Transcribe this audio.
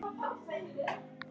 Þú þagðir.